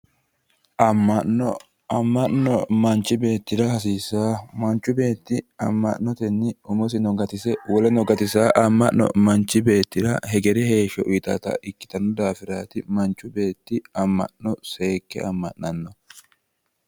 Amma'mo. Amma'no manchu beettira hasiissawo. Manchu beetti amma'notenni umosino gatise woleno gatisanno amma'no manchu beettira hegere heeshsho uyitanno daafiraati manchu beetti amma'no seekke amma'annohu